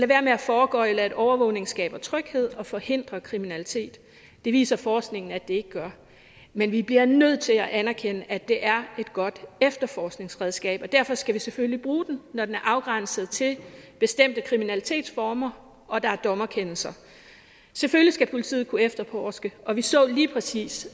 være med at foregøgle at overvågning skaber tryghed og forhindrer kriminalitet det viser forskningen at det ikke gør men vi bliver nødt til at anerkende at det er et godt efterforskningsredskab og derfor skal vi selvfølgelig bruge det når det er afgrænset til bestemte kriminalitetsformer og der er en dommerkendelse selvfølgelig skal politiet kunne efterforske og vi så lige præcis